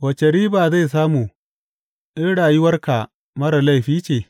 Wace riba zai samu in rayuwarka marar laifi ce?